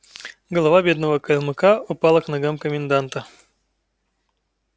голова бедного калмыка упала к ногам коменданта